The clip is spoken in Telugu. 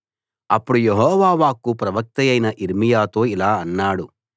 అప్పుడు యెహోవా వాక్కు ప్రవక్తయైన యిర్మీయాతో ఇలా అన్నాడు